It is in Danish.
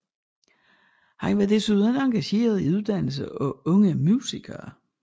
Han var desuden engageret i uddannelse af unge musikere